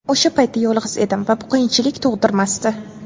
O‘sha paytda yolg‘iz edim va bu qiyinchilik tug‘dirmasdi.